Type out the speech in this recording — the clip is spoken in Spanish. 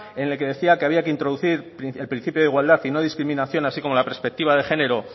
en el que decía que había que introducir el principio de igualdad y no discriminación así como la perspectiva de género